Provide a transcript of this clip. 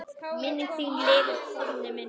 Minning þín lifir, Konni minn.